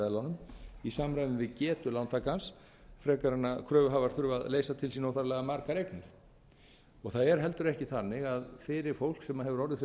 veðlánum í samræmi við getu lántakans frekar en að kröfuhafar þurfi að leysa til sín óþarflega margar eignir það er heldur ekki þannig að fyrir fólk sem hefur orðið fyrir